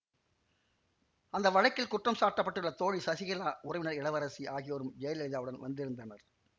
அந்த வழக்கில் குற்றம் சாட்ட பட்டுள்ள தோழி சசிகலா உறவினர் இளவரசி ஆகியோரும் ஜெயலலிதாவுடன் வந்திருந்தனர்